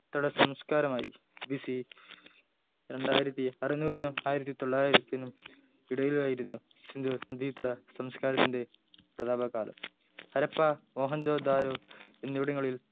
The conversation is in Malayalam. തട സംസ്കാരമയി B. C രണ്ടായിരത്തി അരനൂറിനും ആയിരത്തി തൊള്ളായിരത്തിനും ഇടയിലായിരുന്നു സിന്ധു നദീതട സംസ്ക്കാരത്തിൻ്റെ പ്രതാപകാലം ഹരപ്പ മോഹൻജോ ദാരോ എന്നിവിടങ്ങളിൽ